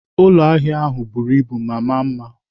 Ụlọ ahịa ahụ buru ibu ma maa mma.